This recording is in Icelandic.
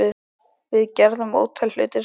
Við gerðum ótal hluti saman.